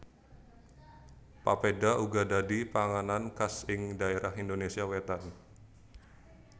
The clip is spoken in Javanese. Papeda uga dadi panganan khas ing dhaerah Indonésia wétan